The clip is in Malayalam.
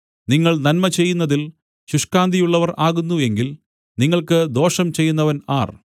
നിങ്ങൾ നന്മ ചെയ്യുന്നതിൽ ശുഷ്കാന്തിയുള്ളവർ ആകുന്നു എങ്കിൽ നിങ്ങൾക്ക് ദോഷം ചെയ്യുന്നവൻ ആർ